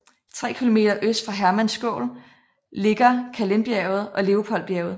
Tre kilometer øst for Hermannskogel ligger Kahlenbjerget og Leopoldbjerget